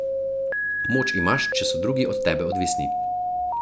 Moč imaš, če so drugi od tebe odvisni.